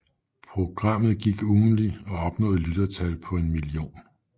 Programmet gik ugentligt og opnåede lyttertal på en million